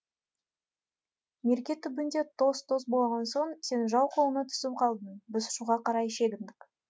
мерке түбінде тоз тоз болған соң сен жау қолына түсіп қалдың біз шуға қарай шегіндік